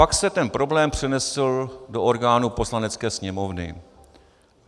Pak se ten problém přenesl do orgánů Poslanecké sněmovny.